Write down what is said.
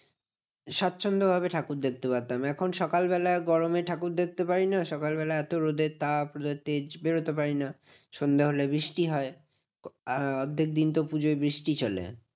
স্বাচ্ছন্দ ভাবে ঠাকুর দেখতে পারতাম। এখন সকালবেলায় গরমে ঠাকুর দেখতে পারি না। সকালবেলা এত রোদের তাপ রোদের তেজ বেরোতে পারি না। সন্ধে হলে বৃষ্টি হয়। অর্ধেক দিন তো পুজোয় বৃষ্টি চলে।